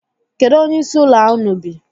Kedu onyeisi ụlọ a unu bi?